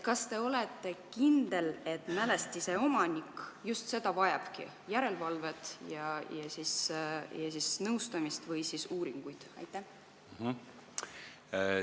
Kas te olete kindel, et mälestise omanik just seda vajabki, järelevalvet ja nõustamist või uuringuid?